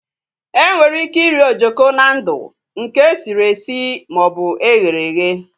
Enwere ike iri ojoko na ndụ, nke sịrị esi maọbụ eghere eghe